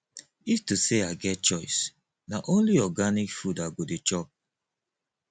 if to sey i get choice na only organic food i go dey chop